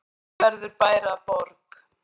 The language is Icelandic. Hvenær verður bær að borg?